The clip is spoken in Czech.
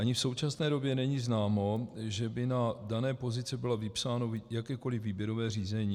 Ani v současné době není známo, že by na dané pozici bylo vypsáno jakékoliv výběrové řízení.